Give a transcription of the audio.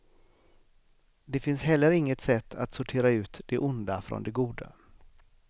Det finns heller inget sätt att sortera ut det onda från det goda.